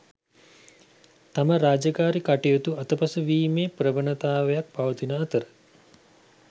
තම රාජකාරි කටයුතු අතපසුවීමේ ප්‍රවණතාවක් පවතින අතර